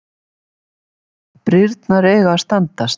Brýrnar eiga að standast